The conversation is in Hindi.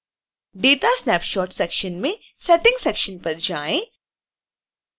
datasnapshot सेक्शन में settings सेक्शन पर जाएँ